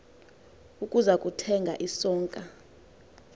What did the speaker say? ukuza kuthenga isonka